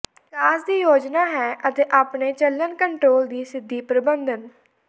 ਵਿਕਾਸ ਦੀ ਯੋਜਨਾ ਹੈ ਅਤੇ ਆਪਣੇ ਚੱਲਣ ਕੰਟਰੋਲ ਦੀ ਸਿੱਧੀ ਪ੍ਰਬੰਧਨ